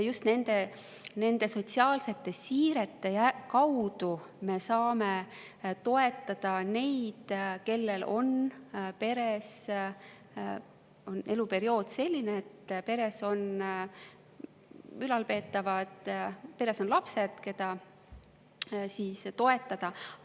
Just nende sotsiaalsete siirete kaudu me saame toetada neid, kellel on eluperiood selline, et peres on ülalpeetavad, peres on lapsed, keda toetada.